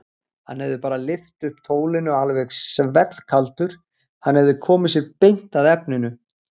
Hann hefði bara lyft upp tólinu alveg svellkaldur, hann hefði komið sér beint að efninu.